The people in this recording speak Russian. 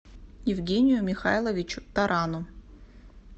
евгению михайловичу тарану